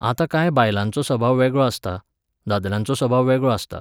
आतां कांय बायलांचो सभाव वेगळो आसता, दादल्यांचो सभाव वेगळो आसता.